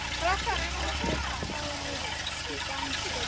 Allir klárir í dansinn?